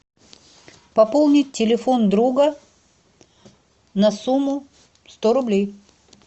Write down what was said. пополнить телефон друга на сумму сто рублей